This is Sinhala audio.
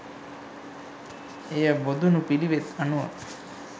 එය බොදුනු පිළිවෙත් අනුව